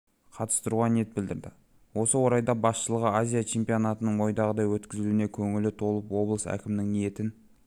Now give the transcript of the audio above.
қатыстыруға ниет білдірді осы орайда басшылығы азия чемпионатының ойдағыдай өткізілуіне көңілі толып облыс әкімінің ниетін